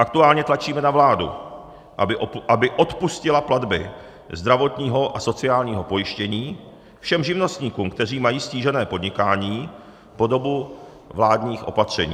Aktuálně tlačíme na vládu, aby odpustila platby zdravotního a sociálního pojištění všem živnostníkům, kteří mají ztížené podnikání, po dobu vládních opatření.